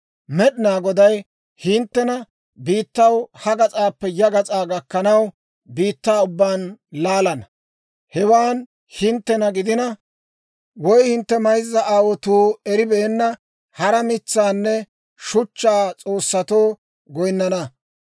«Med'inaa Goday hinttena biittaw ha gas'aappe ya gas'aa gakkanaw, biittaa ubbaan laalana. Hewaan hinttena gidina, woy hintte mayzza aawotuu eribeenna, hara mitsaanne shuchchaa s'oossatoo goyinnana.